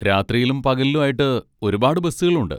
രാത്രിയിലും പകലിലും ആയിട്ട് ഒരുപാട് ബസ്സുകളുണ്ട്.